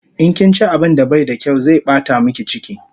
In kinchi abun da bai da kyaw zai bata miki chiki